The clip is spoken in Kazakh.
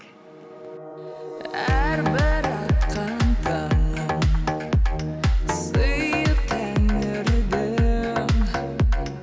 әрбір атқан таңың сыйы тәңірдің